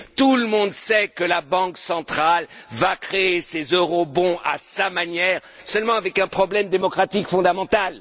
Tout le monde sait que la Banque centrale va créer ses eurobonds à sa manière, seulement avec un problème démocratique fondamental.